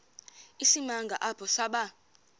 isimanga apho saba